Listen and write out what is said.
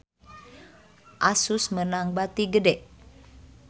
Asus meunang bati gede